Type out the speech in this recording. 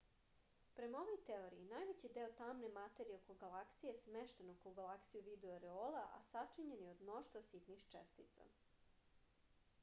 prema ovoj teoriji najveći deo tamne materije oko galaksije smešten oko galaksije u vidu oreola a sačinjena je od mnoštva sitnih čestica